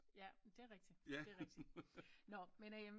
Ja men det er rigtigt nå men øm